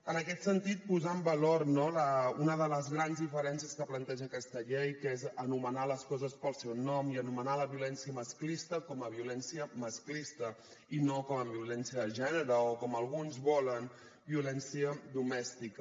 en aquest sentit posar en valor no una de les grans diferències que planteja aquesta llei que és anomenar les coses pel seu nom i anomenar la violència masclista com a violència masclista i no com a violència de gènere o com alguns volen violència domèstica